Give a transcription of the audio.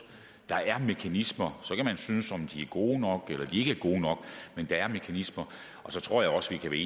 der er mekanismer og så kan man synes at de er gode nok eller at de ikke er gode nok men der er mekanismer og så tror jeg også at vi